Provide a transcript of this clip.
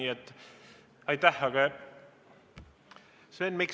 Sven Mikser, palun!